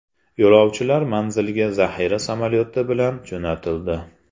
Yo‘lovchilar manzilga zaxira samolyoti bilan jo‘natildi.